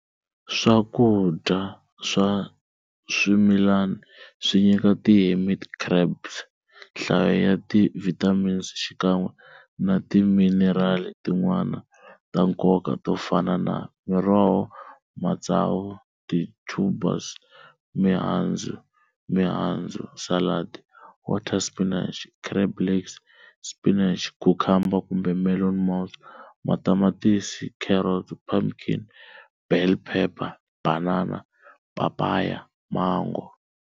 Swakudya swa swimilani swinyika ti hermit crabs nhlayo ya ti vitamins xikan'we na ti minerali tin'wana ta nkoka tofana na-Miroho, matsavu, ti tubers, mihandzu, mihandzu-Salad, water spinach, crab legs, spinach, cucumber kumbe melon mouse, matamatisi, carrot, pumpkin, bell phepha, banana, papaya, mango.